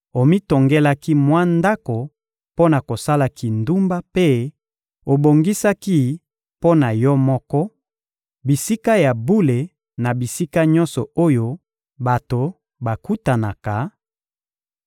omitongelaki mwa ndako mpo na kosala kindumba mpe obongisaki mpo na yo moko, bisika ya bule na bisika nyonso oyo bato bakutanaka;